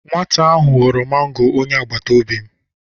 Nwata ahụ ghọrọ mango onye agbataobi m.